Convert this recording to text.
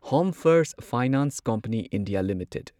home first finance company India limited